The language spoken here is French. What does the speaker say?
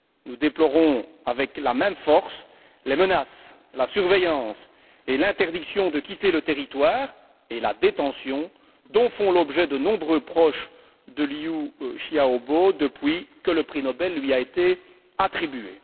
Nous déplorons avec la même force les menaces, la surveillance et l'interdiction de quitter le territoire, ainsi que la détention, dont font l'objet de nombreux proches de Liu Xiaobo depuis que le prix Nobel lui a été attribué.